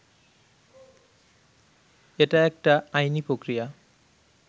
এটা একটা আইনি প্রক্রিয়া